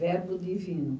Verbo Divino.